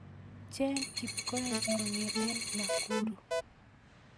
Cheng Kipkoech kongeten Nakuru